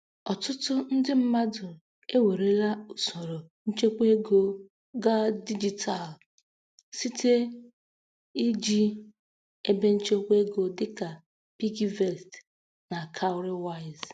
Ọtụtụ ndị mmadụ ewerela usoro nchekwaego gaa dijitalụ site iji ebenchekwaego dịka PiggyVest na Cowrywise.